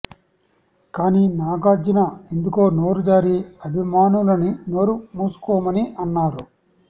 కానీ నాగార్జున ఎందుకో నోరు జారి అభిమానులని నోరు మూసుకోమని అన్నారు